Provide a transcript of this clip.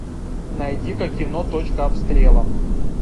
найди ка кино точка обстрела